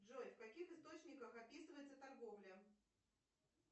джой в каких источниках описывается торговля